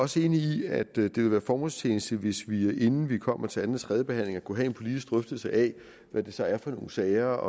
også enig i at det vil være formålstjenligt hvis vi inden vi kommer til anden og tredjebehandlingen kunne have en politisk drøftelse af hvad det så er for nogle sager